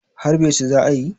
harbe su za a yi?